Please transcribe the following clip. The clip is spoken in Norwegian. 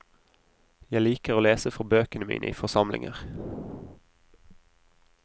Jeg liker å lese fra bøkene mine i forsamlinger.